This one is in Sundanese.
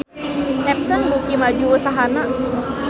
Epson beuki maju usahana